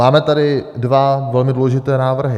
Máme tady dva velmi důležité návrhy.